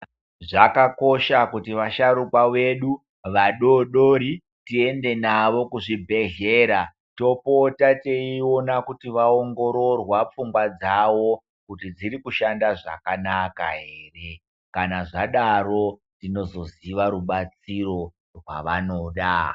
Zvakakosha kuti vasharukwa vedu, vadoodori tiende navo kuzvibhedhlera topota teiona kuti vaongororwa pfungwa dzawo kuti dziri kushanda zvakanaka here. Kana zvadaro tinozoziva rubatsiro rwavanoda.